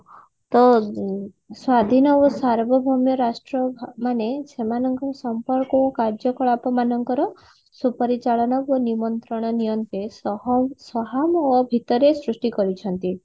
ତ ସ୍ଵାଧୀନ ଓ ସାର୍ବଭୌମ ରାଷ୍ଟ୍ର ଭ ମାନେ ସେମାନଙ୍କର ସମ୍ପର୍କ ଓ ସମ୍ପର୍କ ଓ କାର୍ଯ୍ୟ କଳାପ ମାନଙ୍କର ସୁପରିଚାଳନ ଓ ନିମନ୍ତ୍ରଣ ନିୟନ୍ତେ ସହ ସୃଷ୍ଟି କରିଛନ୍ତି